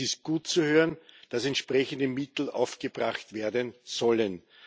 Es ist gut zu hören, dass entsprechende Mittel aufgebracht werden sollen.